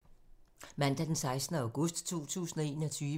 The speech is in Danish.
Mandag d. 16. august 2021